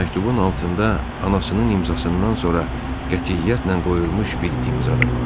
Məktubun altında anasının imzasından sonra qətiyyətlə qoyulmuş bir imza da vardı.